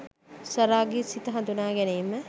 සරාගී සිත හඳුනා ගැනීම